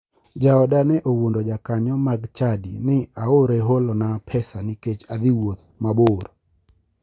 Jaoda ne owuondo jakanyo mag chadi ni aore holona pesa nikech adhi wuoth mabor.